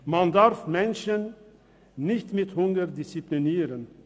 Man darf Menschen nicht mit Hunger disziplinieren!